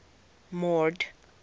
mord